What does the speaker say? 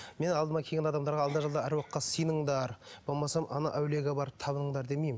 мен алдыма келген адамдарға алда жалда аруаққа сыйыныңдар болмаса ана әулиеге бар табыныңдар демеймін